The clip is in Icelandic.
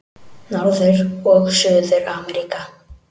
Norður- og Suður-Ameríka